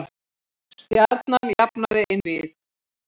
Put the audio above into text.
Stjarnan jafnaði einvígið